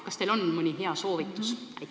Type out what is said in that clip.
Kas teil on mõni hea soovitus?